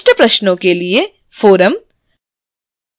विशिष्ट प्रश्नों के लिए forum: